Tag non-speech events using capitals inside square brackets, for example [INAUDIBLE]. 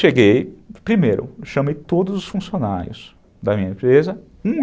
Cheguei, primeiro, chamei todos os funcionários da minha empresa, [UNINTELLIGIBLE]